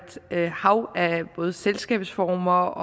hav af både selskabsformer